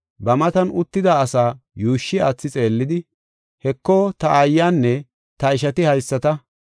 Ba matan uttida asa yuushshi aathi xeellidi, “Heko, ta aayanne ta ishati haysata.